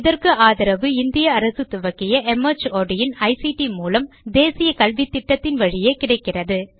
இதற்கு ஆதரவு இந்திய அரசு துவக்கிய மார்ட் இன் ஐசிடி மூலம் தேசிய கல்வித்திட்டத்தின் வழியே கிடைக்கிறது